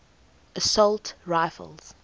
assault rifles